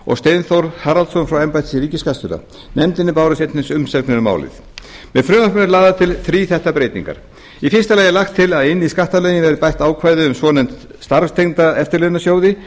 og steinþór haraldsson frá embætti ríkisskattstjóra nefndinni bárust einnig umsagnir um málið með frumvarpinu eru lagðar til þríþættar breytingar er í fyrsta lagi lagt til að inn í skattalöggjöf verði bætt ákvæðum um svonefnda starfstengda eftirlaunasjóði